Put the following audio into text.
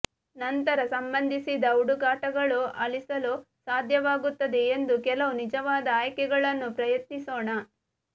ನಂತರ ಸಂಬಂಧಿಸಿದ ಹುಡುಕಾಟಗಳು ಅಳಿಸಲು ಸಾಧ್ಯವಾಗುತ್ತದೆ ಎಂದು ಕೆಲವು ನಿಜವಾದ ಆಯ್ಕೆಗಳನ್ನು ಪ್ರಯತ್ನಿಸೋಣ